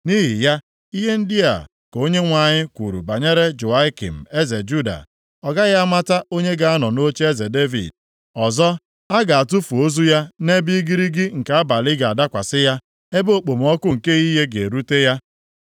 Nʼihi ya, ihe ndị a ka Onyenwe anyị kwuru banyere Jehoiakim eze Juda; Ọ gaghị amụta onye ga-anọ nʼocheeze Devid. Ọzọ, a ga-atụfu ozu ya nʼebe igirigi nke abalị ga-adakwasị ya, ebe okpomọkụ nke ehihie ga-erute ya.